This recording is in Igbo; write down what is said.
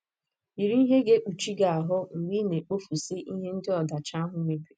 Yiri ihe ga - ekpuchi gị ahụ́ mgbe ị na - ekpofusi ihe ndị ọdachi ahụ mebiri.